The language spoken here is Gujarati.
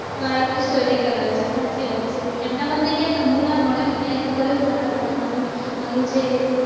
બાળકને ને study કરાવે છે સાચી વાત છે એમના મનમાં એમ હોઈ કે હુના ભણ્યો મેં ના કર્યો તો મારું બાળક કરે